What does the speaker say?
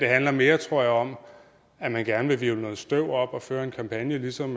handler mere tror jeg om at man gerne vil hvirvle noget støv op og føre en kampagne ligesom